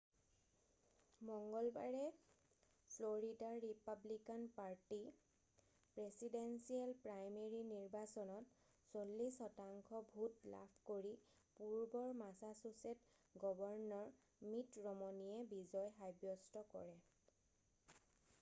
মঙ্গলবাৰে Florida Republican party presidential primary নিৰ্বাচনত 46 শতাংশ ভোট লাভ কৰি পূৰ্বৰ মাছাছুছেট গৱৰ্ণৰ মিট ৰমনিয়ে বিজয় সাব্যস্ত কৰে